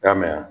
I y'a mɛn